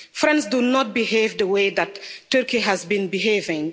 Friends do not behave in the way that Turkey has been behaving.